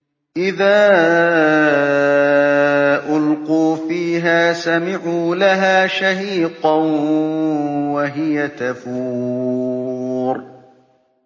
إِذَا أُلْقُوا فِيهَا سَمِعُوا لَهَا شَهِيقًا وَهِيَ تَفُورُ